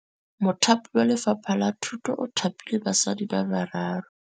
Mothapi wa Lefapha la Thutô o thapile basadi ba ba raro.